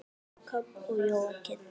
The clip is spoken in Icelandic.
Jakob og Jóakim.